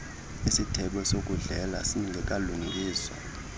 isithebe sokudlela singekalungiswa